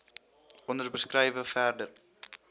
onder beskrywe verder